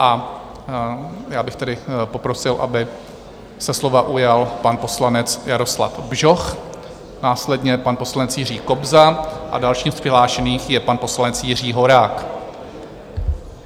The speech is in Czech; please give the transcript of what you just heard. A já bych tedy poprosil, aby se slova ujal pan poslanec Jaroslav Bžoch, následně pan poslanec Jiří Kobza a dalším z přihlášených je pan poslanec Jiří Horák.